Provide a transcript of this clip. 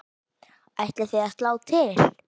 Ætlið þið að slá til?